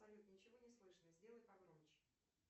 салют ничего не слышно сделай погромче